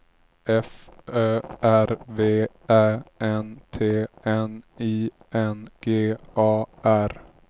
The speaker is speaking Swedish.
F Ö R V Ä N T N I N G A R